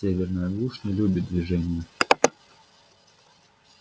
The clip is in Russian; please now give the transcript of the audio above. северная глушь не любит движения